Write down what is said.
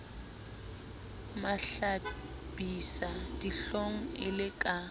mahlabisa dihlong e le ka